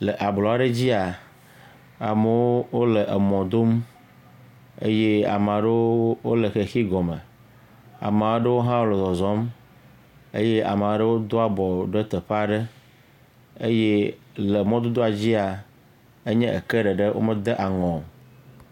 Le ablɔ aɖe dzia, amewo le emɔ dom eye ame aɖewo le xexi gɔ me, ame aɖewo hã le zɔzɔ eye ame aɖewo hã le ati gɔ me eye le mɔdodo adzia enye eke ɖeɖe, wo me dŋ aŋu o.